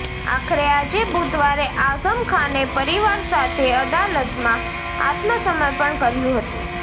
આખરે આજે બુધવારે આઝમ ખાને પરિવાર સાથે અદાલતમાં આત્મસમર્પણ કર્યું હતું